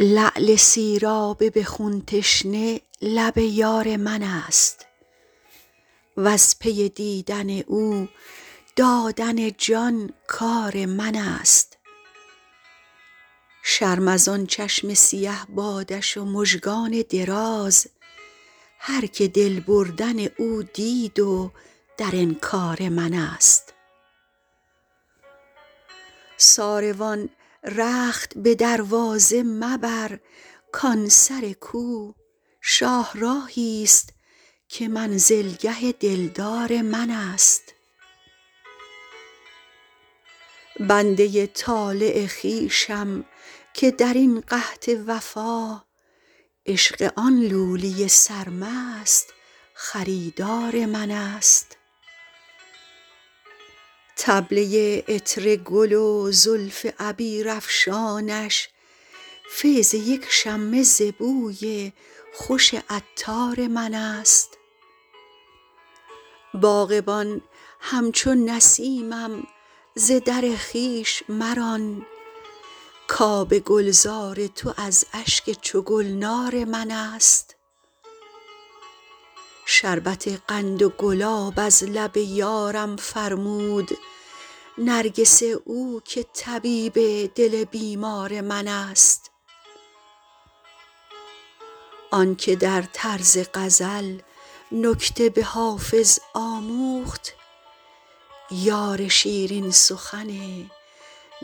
لعل سیراب به خون تشنه لب یار من است وز پی دیدن او دادن جان کار من است شرم از آن چشم سیه بادش و مژگان دراز هرکه دل بردن او دید و در انکار من است ساروان رخت به دروازه مبر کان سر کو شاهراهی ست که منزلگه دلدار من است بنده ی طالع خویشم که در این قحط وفا عشق آن لولی سرمست خریدار من است طبله ی عطر گل و زلف عبیرافشانش فیض یک شمه ز بوی خوش عطار من است باغبان همچو نسیمم ز در خویش مران کآب گلزار تو از اشک چو گلنار من است شربت قند و گلاب از لب یارم فرمود نرگس او که طبیب دل بیمار من است آن که در طرز غزل نکته به حافظ آموخت یار شیرین سخن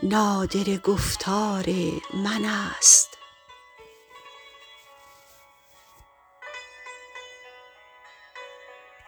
نادره گفتار من است